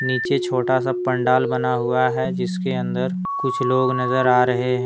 नीचे छोटा सा पंडाल बना हुआ है जिसके अंदर कुछ लोग नजर आ रहे हैं।